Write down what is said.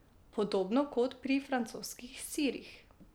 Podobno kot pri francoskih sirih.